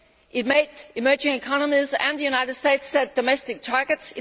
it made emerging economies and the United States set domestic targets